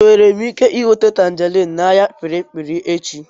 Enwere m ike nweta tanjerin n'ahịa kpirikpiri echi?